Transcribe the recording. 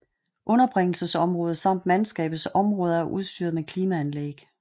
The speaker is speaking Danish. Underbringelsesområdet samt mandskabets områder er udstyret med klimaanlæg